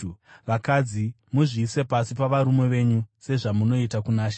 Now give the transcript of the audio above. Vakadzi, muzviise pasi pavarume venyu sezvamunoita kuna She.